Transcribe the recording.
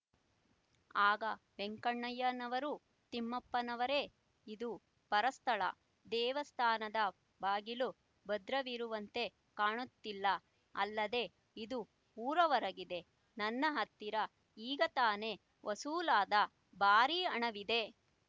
ಆಗ ವೆಂಕಣ್ಣಯ್ಯನವರು ತಿಮ್ಮಪ್ಪನವರೇ ಇದು ಪರಸ್ಥಳ ದೇವಸ್ಥಾನದ ಬಾಗಿಲು ಭದ್ರವಿರುವಂತೆ ಕಾಣುತ್ತಿಲ್ಲ ಅಲ್ಲದೆ ಇದು ಊರಹೊರಗಿದೆ ನನ್ನ ಹತ್ತಿರ ಈಗ ತಾನೆ ವಸೂಲಾದ ಭಾರಿ ಹಣವಿದೆ